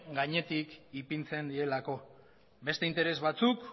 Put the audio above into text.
gainetik ipintzen direlako beste interes batzuk